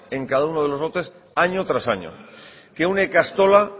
en cada uno de los lotes año tras año que una ikastola